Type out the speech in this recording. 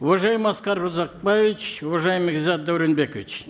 уважаемый аскар узакбаевич уважаемый гизат дауренбекович